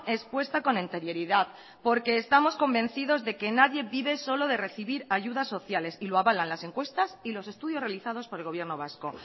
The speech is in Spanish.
expuesta con anterioridad porque estamos convencidos de que nadie vive solo de recibir ayudas sociales y lo avalan las encuestas y los estudios realizados por el gobierno vasco